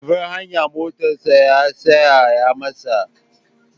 A babbar hanya motarsa ta tsaya masa.